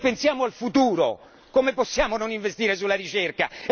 Se pensiamo al futuro, come possiamo non investire nella ricerca?